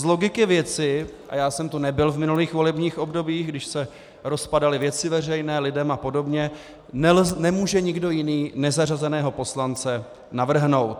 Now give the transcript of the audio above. Z logiky věci - a já jsem tu nebyl v minulých volebních obdobích, když se rozpadaly Věci veřejné, LIDEM a podobně - nemůže nikdo jiný nezařazeného poslance navrhnout.